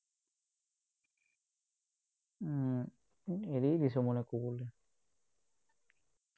এৰ এৰিয়েই দিছো, মানে ক'বলৈ